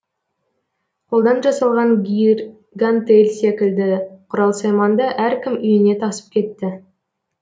қолдан жасалған гир гантел секілді құрал сайманды әркім үйіне тасып кетті